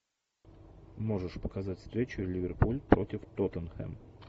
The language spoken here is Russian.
можешь показать встречу ливерпуль против тоттенхэм